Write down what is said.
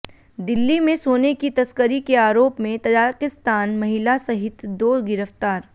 दिल्ली में सोने की तस्करी के आरोप में तजाकिस्तानी महिला सहित दो गिरफ्तार